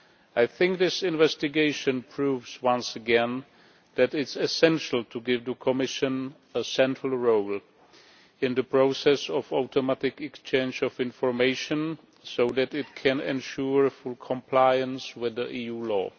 I think this investigation proves once again that it is essential to give the Commission a central role in the process of automatic exchange of information so that it can ensure full compliance with EU law.